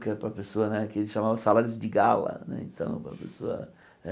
Que era para a pessoa né que ele chamava salários de gala né. Então a pessoa